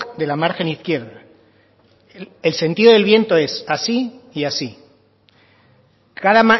de la margen izquierda el sentido del viento es así y así cada